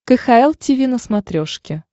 кхл тиви на смотрешке